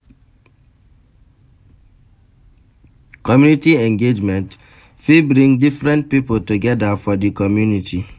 Community engagement fit bring different pipo together for di community